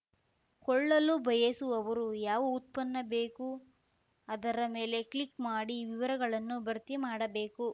ಕೊಳ್ಳಲು ಬಯಸುವವರು ಯಾವ ಉತ್ಪನ್ನ ಬೇಕು ಅದರ ಮೇಲೆ ಕ್ಲಿಕ್‌ ಮಾಡಿ ವಿವಿರಗಳನ್ನು ಭರ್ತಿ ಮಾಡಬೇಕು